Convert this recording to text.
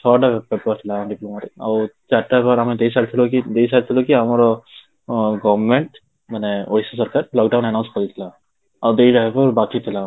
ଛଅଟା paper diploma ରେ ଆଉ ଚାରିଟା ପେପର ଆମେ ଦେଇସାରିଥିଲୁ ବାକି ଦେଇସାରିଥିଲୁ କି ଆମର government ମାନେ ossc ସରକାର lockdown announce କରିଥିଲା, ଆଉ ଦିଟା ପେପର ବାକି ଥିଲା